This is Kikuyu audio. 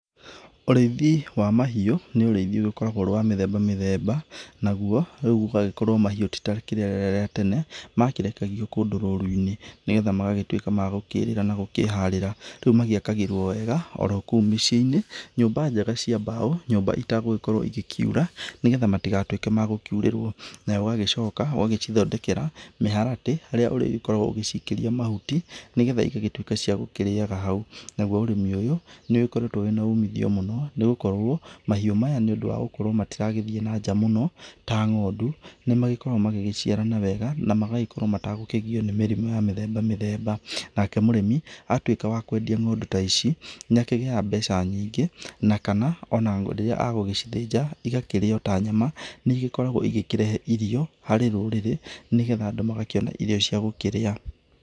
Ũrĩithi wa mahiũ nĩ ũrĩithi ũgĩkoragwo ũrĩ wa mĩthemba mĩthemba naguo rĩu ũgagĩkorwo mahiũ tĩ ta rĩrĩa rĩa tene makĩrekagio kũndũ rũru-inĩ nĩgetha magagĩtuĩka ma gũkĩrĩra na gũkĩharĩra. Rĩu magĩakagĩrwo wega orokũu mĩciĩ-inĩ, nyũmba njega cia mbaũ, nyũmba ĩtegũgĩkorwo ĩgĩkiura nĩgetha matugatuĩke magũkiurĩrwo, na ũgagĩcoka ũgacithondekera mũharatĩ ũrĩa ũrĩkoragwo ũgĩcikĩria mahuti nĩgetha ĩgagĩtuĩka cia gũkĩrĩyaga hau. Naguo ũrĩmi ũyũ nĩ ũgĩkoretwo wina umithio mũno nĩgũkorwo mahĩũ maya niũndũ wa gũkorwo matiragĩthiĩ na nja mũno ta ng'ondu ni magĩkoragwo magĩciarana wega na magagĩkorwo matekũgiywo nĩ mĩrimũ ya mĩthemba mĩthemba. Nake mũrĩmi atuĩka wa kwendia ng'ondu ta ici nĩ akĩgĩyaga mbeca nyingĩ na kana ona rĩrĩa egũgĩcithinja ĩgakĩrĩyo ta nyama nĩigĩkoragwo ĩgĩkĩrehe irio harĩ rũrĩrĩ, nĩgetha andũ magakĩona irio cia gũkĩrĩa.